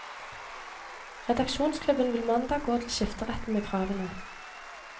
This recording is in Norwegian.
Redaksjonsklubben vil mandag gå til skifteretten med kravene.